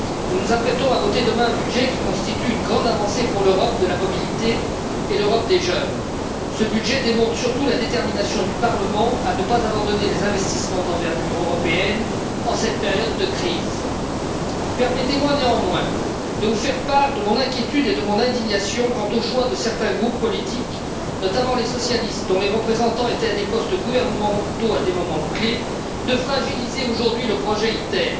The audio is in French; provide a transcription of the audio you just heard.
Nous nous apprêtons à voter demain un budget qui constitue une grande avancée pour l'Europe de la mobilité et l'Europe des jeunes. Ce budget démontre surtout la détermination du Parlement à ne pas abandonner les investissements d'envergure européenne en cette période de crise. Permettez moi néanmoins de vous faire part de mon inquiétude et de mon indignation quant au choix de certains groupes politiques, notamment les socialistes dont les représentants étaient à des postes gouvernementaux à des moments clés, de fragiliser aujourd'hui le projet ITER,